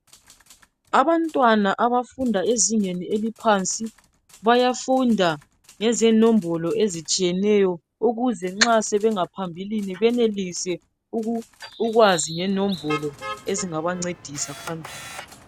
Abantwana abafunda ezingeni eliphansi, bayafunda ngezinombolo ezitshiyeneyo ukuze nxa sebengaphambilini benelise ukwazi ngenombolo ezingabancedisa pjambili.